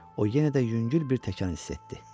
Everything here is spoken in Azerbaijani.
O yenə də yüngül bir təkan hiss etdi.